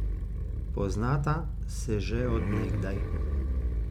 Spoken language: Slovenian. Poznata se že od nekdaj.